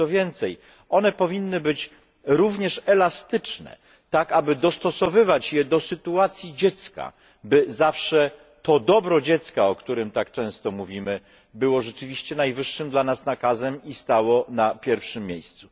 Co więcej, one powinny być również elastyczne tak, aby dostosowywać je do sytuacji dziecka, by zawsze to dobro dziecka, o którym tak często mówimy, było rzeczywiście najwyższym dla nas nakazem i stało na pierwszym miejscu.